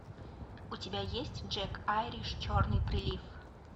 у тебя есть джек айриш черный прилив